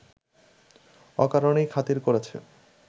অকারণেই খাতির করেছে